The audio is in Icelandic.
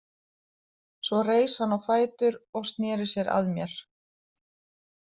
Svo reis hann á fætur og sneri sér að mér.